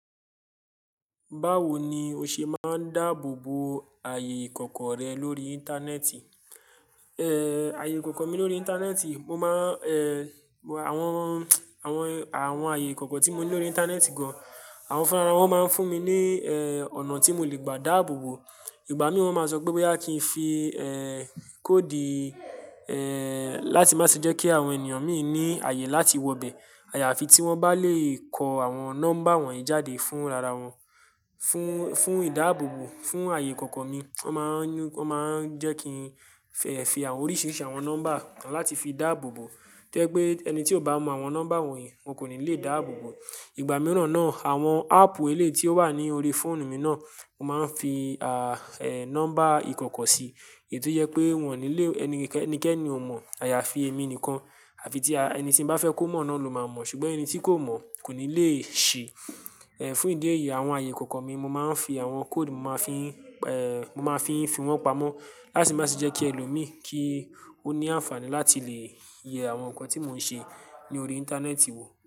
Báwo ni o ṣe máa ń dáàbò bo ààyè ìkọ̀kọ̀ rẹ lórí Íńtánẹ́ẹ̀tì? Èé, ààyè ìkọ̀kọ̀ mi lórí Íńtánẹ́ẹ̀tì, mo máa ń èè àwọn, àwọn, àwọn ààyè ìkọ̀kọ̀ tí mo ní lórí Íńtánẹ́ẹ̀tì gan-an, àwọn fúnra wọn máa ń fún mi ní èè ọ̀nà tí mo lè gbà dáàbò bo. Ìgbà mìíràn máa ń sọ pé bá kí n fi èè kóòdì èè láti má ṣe jẹ́ kí àwọn ènìyàn mi ò ní ààyè láti wọ bẹ. Àyàfi tí wọ́n bá lè kọ àwọn nọ́mbà wọ̀nyí jáde fún rara wọn. Fún, fún ìdáàbò bo, fún ààyè ìkọ̀kọ̀ mi wọ́n máa ń, wọ́n máa ń jẹ́ kí n fẹ fi oríṣiríṣi àwọn nọ́mbà láti fi dáàbò bo. To jẹ́ pé ẹni tí ó bá mọ àwọn nọ́mbà wọ̀nyí, wọn kò ní lè dáàbò bo. Ìgbà mìíràn náà, àwọn áàpù eléyìí tí ó wà ní orí fóònù mi náà, mo máa ń fi a-nọ́mbà ìkọ̀kọ̀ sí i. Èyí tó jẹ́ pé wọ́n ní lé ẹnikẹ́ni ò mọ̀. Àyàfi èmi nìkan àfi tí ẹni tí mo bá fẹ́ kó mọ̀ náà ló máa mọ̀. Ṣùgbọ́n ẹni tí kò mọ̀ kò ní lè ṣi. Ẹ̀ fún ìdí èyí àwọn ààyè ìkọ̀kọ̀ mi mo máa ń fi àwọn kóòdì mo máa ń fi èè mo máa ń fi fìwọ́n pamọ́ láti má ṣe jẹ́ kí ẹlòmíì kí ó ní àǹfààní láti lè yẹ àwọn nǹkan tí mo ń ṣe lórí Íńtánẹ́ẹ̀tì wò.